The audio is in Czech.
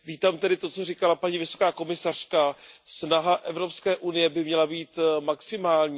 Vítám tedy to, co říkala paní vysoká komisařka, snaha Evropské unie by měla být maximální.